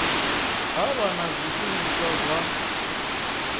ha vha na zwishumiswa zwa